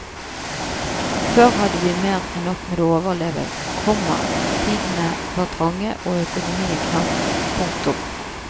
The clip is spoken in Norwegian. Før hadde vi mer enn nok med å overleve, komma tidene var trange og økonomien knapp. punktum